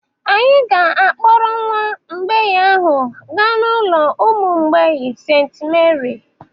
Anyị ga-akpọrọ nwa mgbei ahụ gaa n'ụlọ ụmụ mgbei St. Meri